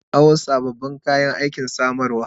Na kawo sabbin kayayyaki samarwa.